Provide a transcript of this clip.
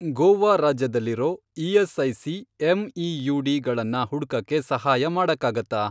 ಗೋವಾ ರಾಜ್ಯದಲ್ಲಿರೋ ESIC. MEUD. ಗಳನ್ನ ಹುಡ್ಕಕ್ಕೆ ಸಹಾಯ ಮಾಡಕ್ಕಾಗತ್ತಾ?